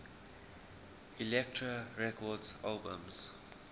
elektra records albums